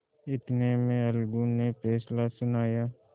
इतने में अलगू ने फैसला सुनाया